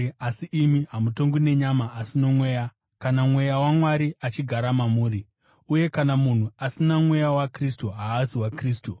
Asi imi hamutongwi nenyama asi noMweya, kana Mweya waMwari achigara mamuri. Uye kana munhu asina Mweya waKristu, haazi waKristu,